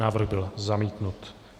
Návrh byl zamítnut.